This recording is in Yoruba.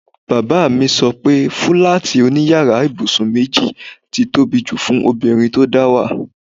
Bàbá mi so pe fúláàtì òní yàrá ibùsùn méjì ti tóbi jù fún obìnrin tó dáwà.